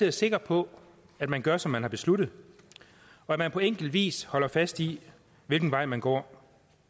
er sikker på at man gør som man har besluttet og at man på enkel vis holder fast i hvilken vej man går